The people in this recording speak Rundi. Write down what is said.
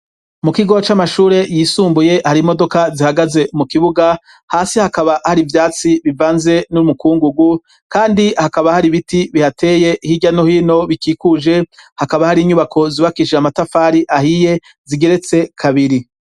Mu kigo c'amashure yisumbuye hari imodoka zihagaze mu kibuga hasi hakaba hari ivyatsi bivanze n'urmukungugu kandi hakaba hari ibiti bihateye hirya no hino bikikuje hakaba hari inyubako zibakishije amatafari ahiye zigeretse kabiri.